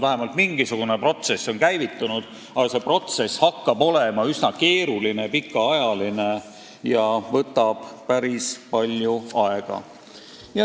Vähemalt mingisugune protsess on käivitunud, aga see protsess hakkab olema üsna keeruline ja võtab päris palju aega.